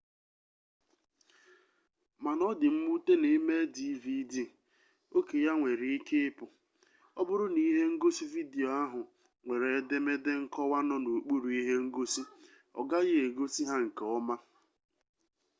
mana ọ dị mwute na ị mee dvd oke ya nwere ike ịpụ ọ bụrụ na ihe ngosi vidiyo ahụ nwere edemede nkọwa nọ n'okpuru ihe ngosi ọgaghị egosi ha nke ọma